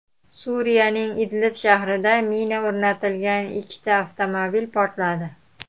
Suriyaning Idlib shahrida mina o‘rnatilgan ikkita avtomobil portladi.